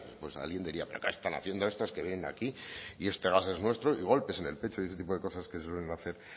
pues alguien diría pero qué están haciendo estos que vienen aquí y este gas es nuestro y golpes en el pecho y este tipo de cosas que se suelen hacer